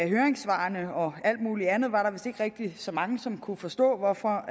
høringssvarene og alt muligt andet var der vist ikke rigtig så mange som kunne forstå hvorfor